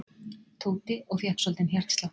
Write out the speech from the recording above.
Tóti og fékk svolítinn hjartslátt.